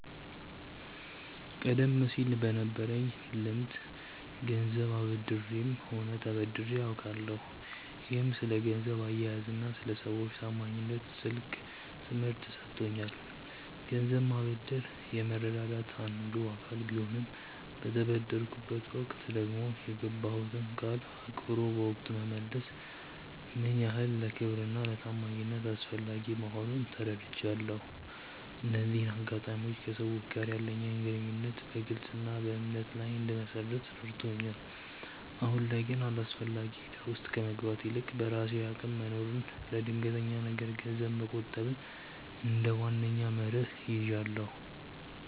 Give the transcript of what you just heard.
ቀደም ሲል በነበረኝ ልምድ ገንዘብ አበድሬም ሆነ ተበድሬ አውቃለሁ፤ ይህም ስለ ገንዘብ አያያዝና ስለ ሰዎች ታማኝነት ትልቅ ትምህርት ሰጥቶኛል። ገንዘብ ማበደር የመረዳዳት አንዱ አካል ቢሆንም፣ በተበደርኩበት ወቅት ደግሞ የገባሁትን ቃል አክብሮ በወቅቱ መመለስ ምን ያህል ለክብርና ለታማኝነት አስፈላጊ መሆኑን ተረድቻለሁ። እነዚህ አጋጣሚዎች ከሰዎች ጋር ያለኝን ግንኙነት በግልጽነትና በእምነት ላይ እንድመሰርት ረድተውኛል። አሁን ላይ ግን አላስፈላጊ እዳ ውስጥ ከመግባት ይልቅ፣ በራሴ አቅም መኖርንና ለድንገተኛ ነገር ገንዘብ መቆጠብን እንደ ዋነኛ መርህ ይዣለሁ።